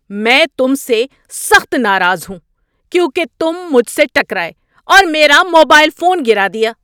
میں تم سے سخت ناراض ہوں کیونکہ تم مجھ سے ٹکرائے اور میرا موبائل فون گرا دیا۔